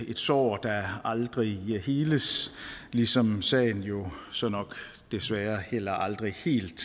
sår der aldrig heles ligesom sagen jo så nok desværre heller aldrig helt